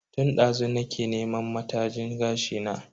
Tun dazu nake neman matajin gashi na.